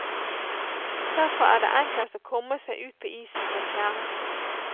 Derfor er det enklest å komme seg ut på isen ved fjære.